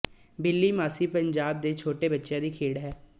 ਬਿੱਲੀ ਮਾਸੀ ਪੰਜਾਬ ਦੇ ਛੋਟੇ ਬੱਚਿਆਂ ਦੀ ਖੇਡ ਹੈ